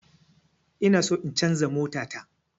Inaso in canza mota ta